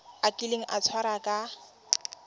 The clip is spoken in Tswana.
a kile a tshwarwa ka